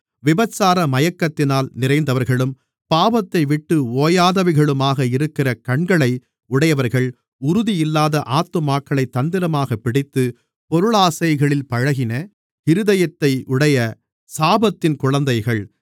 விபசார மயக்கத்தினால் நிறைந்தவர்களும் பாவத்தைவிட்டு ஓயாதவைகளுமாக இருக்கிற கண்களை உடையவர்கள் உறுதியில்லாத ஆத்துமாக்களைத் தந்திரமாகப் பிடித்து பொருளாசைகளில் பழகின இருதயத்தையுடைய சாபத்தின் குழந்தைகள்